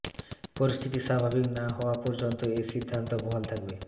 পরিস্থিতি স্বাভাবিক না হওয়া পর্যন্ত এ সিদ্ধান্ত বহাল থাকবে